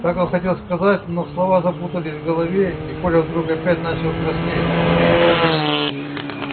так он хотел сказать но слова запутались в голове и коля вдруг опять начал краснеть